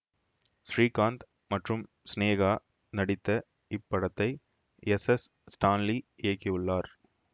ஸ்ரீகாந்த் மற்றும் சினேகா நடித்த இப்படத்தை எஸ் எஸ் ஸ்டான்லி இயக்கியுள்ளார்